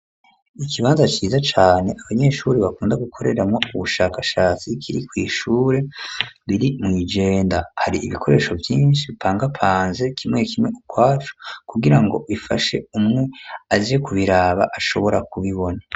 Ikibanza ciza cane abanyeshuri bakunda gukoreramwo ubushakashatsi kiri kw'ishure riri mw'ijenda hari ibikoresho vyishi bipanga panze kimwe kimwe ukwaco ku girango bifashe umwe azi ku biraba ashobora ku bibona.